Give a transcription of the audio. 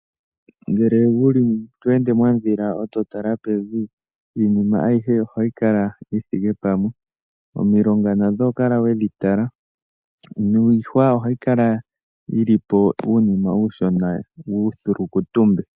Uuna wa londa mondhila eto tala pevi, iinima ayihe ohayi kala tayi monika yi thike pamwe. Omilunga nadho oho kala we dhi tala, nuuhwa ohawu kala tawu monika uushona.